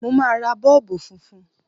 Mo máa ra Bọ́ọ̀bù funfun.